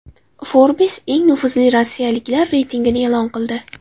Forbes eng nufuzli rossiyaliklar reytingini e’lon qildi .